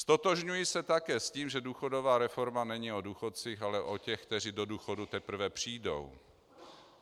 Ztotožňuji se také s tím, že důchodová reforma není o důchodcích, ale o těch, kteří do důchodu teprve přijdou.